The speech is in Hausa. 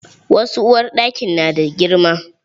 Wasu uwarɗakin na da girma.